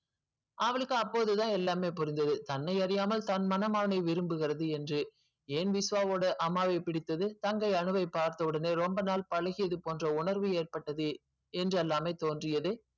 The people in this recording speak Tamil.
அவளுக்கு அப்போது தான் எல்லாமே புரிஞ்சது தன்னை அறியாமல் தன் மனம் அவனை விரும்புகிறது என்று ஏன் விஸ்வாவோடு அம்மாவை பிடித்தது தங்கை அன்பை பார்த்த ஒடனே ரொம்ப நாள் பழகியது போன்ற உணர்வு ஏற்பட்டது என்று எல்லாமே தோன்றியது.